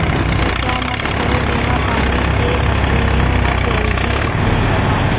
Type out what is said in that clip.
ऐसा मत करो बिना पानी के मछलियाँ मर जाएँगी उसने कहा